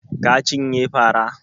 Ka cinye fara?